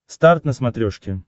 старт на смотрешке